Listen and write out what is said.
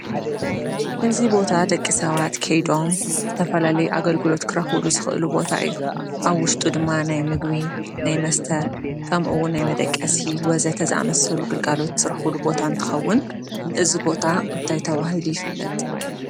እዙ ቦታ ደቂ ሰባት ከይዶም ዝተፈላለይ ኣገልግሎት ክራዂቡሉ ዝኽእሉ ቦታ እዩ፡፡ ኣብ ውሽጡ ድማ ናይ ምግቢ ናይ መስተ ከምኡውን ናይ መደቀሲ ወዘተ ዛመስሉ ግልጋሎት ዝራዂቡሉ ቦታ እን ትኸውን እዝ ቦታ እንታይ ተዋሂሉ ይፍለጥ?